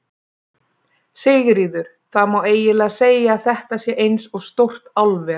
Sigríður: Það má eiginlega segja að þetta sé eins og stórt álver?